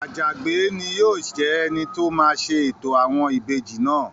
Àjàgbé ni yóò jẹ́ ẹni tó máa ṣe ètò àwọn ìbejì náà